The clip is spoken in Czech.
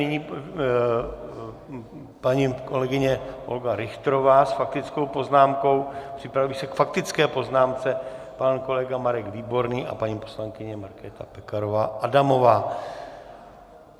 Nyní paní kolegyně Olga Richterová s faktickou poznámkou, připraví se k faktické poznámce pan kolega Marek Výborný a paní poslankyně Markéta Pekarová Adamová.